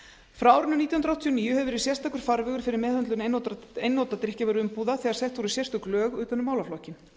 frá árinu nítján hundruð áttatíu og níu hefur verið sérstakur farvegur fyrir meðhöndlun einnota drykkjarvöruumbúða þegar sett voru sérstök lög utan um málaflokkinn